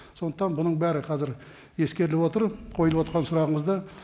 сондықтан бұның бәрі қазір ескеріліп отыр қойылып отырған сұрағыңызда